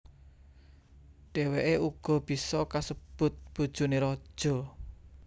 Dhèwèké uga bisa kasebut bojoné raja